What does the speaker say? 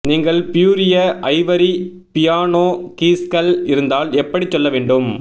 நீங்கள் பியூரிய ivory piano கீஸ்கள் இருந்தால் எப்படி சொல்ல வேண்டும்